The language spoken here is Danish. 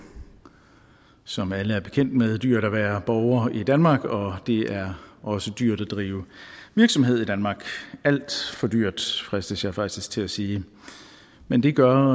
som alle er bekendt med dyrt at være borger i danmark og det er også dyrt at drive virksomhed i danmark alt for dyrt fristes jeg faktisk til at sige men det gør